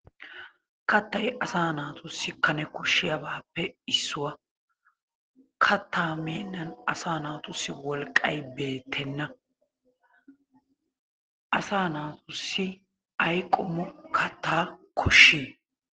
Kattay asaa naatussi Kane koshshiyabaappe issuwa. Kattaa mednnan asaa naatussi wolqqay beettenna. Asaa naatussi ayi qommo kattaa koshshii?